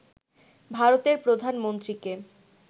ভারতের প্রধানমন্ত্রীকে